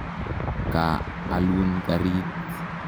Ka alun karit.